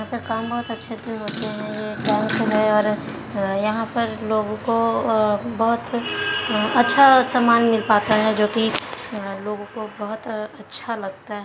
यहाँ पर काम बहुत अच्छे से होते है यहा पे लोगों को अअ बहुत अच्छे से सामान मिल पाता है जो की अअ लोगों को अच्छा लगता ह--